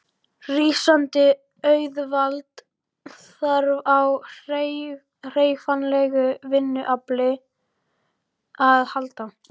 Rísandi auðvald þarf á hreyfanlegu vinnuafli að halda.